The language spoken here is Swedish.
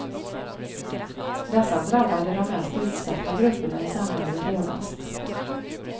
Dessa drabbade de mest utsatta grupperna i samhället hårdast.